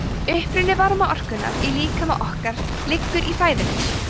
uppruni varmaorkunnar í líkama okkar liggur í fæðunni